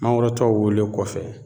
Mangoro tɔw wolen kɔfɛ